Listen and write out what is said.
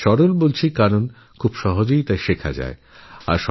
যোগ সরল এই জন্য যে যোগঅনায়াসেই শেখা যেতে পারে